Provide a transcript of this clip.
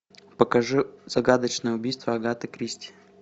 покажи загадочное убийство агаты кристи